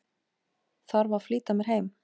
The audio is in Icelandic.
Þarf að flýta mér heim.